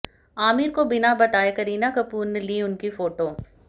आमिर को बिना बताए करीना कपूर ने ली उनकी फोटो